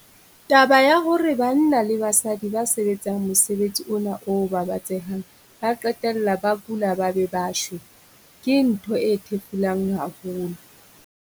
Taba ya hore banna le basadi ba sebetsang mosebetsi ona o babatsehang ba qetella ba kula ba be ba shwe, ke ntho e thefulang haholo.